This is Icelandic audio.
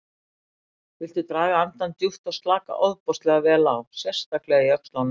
Viltu draga andann djúpt og slaka ofboðslega vel á, sérstaklega í öxlunum.